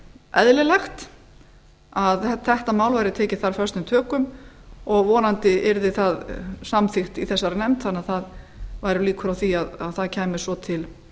eðlilegt að þetta mál verði tekið þar föstum tökum og vonandi yrði það samþykkt í þessari nefnd þannig að það eru líkur á því að það komi svo til